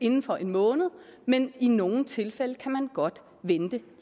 inden for en måned men i nogle tilfælde kan man godt vente